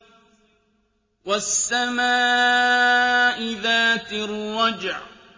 وَالسَّمَاءِ ذَاتِ الرَّجْعِ